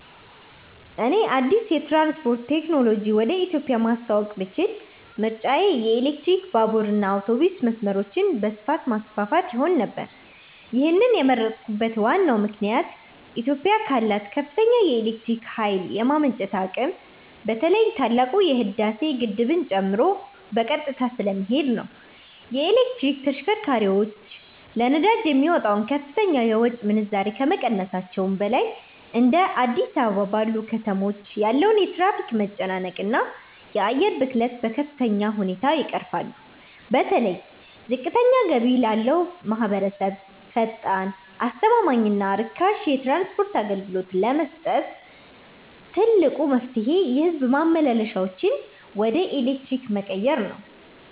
እኔ አዲስ የትራንስፖርት ቴክኖሎጂ ወደ ኢትዮጵያ ማስተዋወቅ ብችል ምርጫዬ የኤሌክትሪክ ባቡርና አውቶቡስ መስመሮችን በስፋት ማስፋፋት ይሆን ነበር። ይህንን የመረጥኩበት ዋናው ምክንያት ኢትዮጵያ ካላት ከፍተኛ የኤሌክትሪክ ኃይል የማመንጨት አቅም በተለይ ታላቁ የህዳሴ ግድብን ጨምሮ በቀጥታ ስለሚሄድ ነው። የኤሌክትሪክ ተሽከርካሪዎች ለነዳጅ የሚወጣውን ከፍተኛ የውጭ ምንዛሬ ከመቀነሳቸውም በላይ፤ እንደ አዲስ አበባ ባሉ ከተሞች ያለውን የትራፊክ መጨናነቅና የአየር ብክለት በከፍተኛ ሁኔታ ይቀርፋሉ። በተለይ ዝቅተኛ ገቢ ላለው ማኅበረሰብ ፈጣን፣ አስተማማኝና ርካሽ የትራንስፖርት አገልግሎት ለመስጠት ትልቁ መፍትሔ የሕዝብ ማመላለሻዎችን ወደ ኤሌክትሪክ መቀየር ነው።